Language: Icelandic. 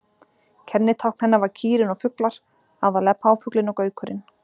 Kennitákn hennar var kýrin og fuglar, aðallega páfuglinn og gaukurinn.